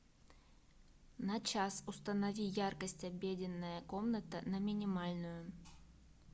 на час установи яркость обеденная комната на минимальную